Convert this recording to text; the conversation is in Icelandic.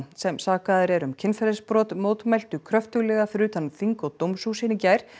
sem sakaður er um kynferðisbrot mótmæltu kröftuglega fyrir utan þing og dómshúsin í gær